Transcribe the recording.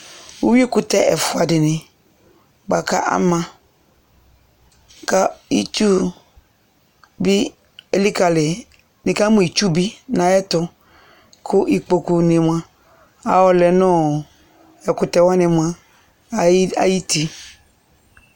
Uwui kʋtɛ ɛfua di ni boa kʋ ama kʋ itsu bi ilikali yi dʋ, nikamʋ itsu bi nʋ ayɛtʋ kʋ ikpoku ni moa ayɔlɛ nʋ ɔ ɛkʋtɛ wani moa ayi ti